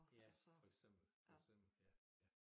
Ja for eksempel for eksempel ja ja